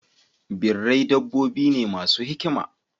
Birrai dabbobi ne masu hikima.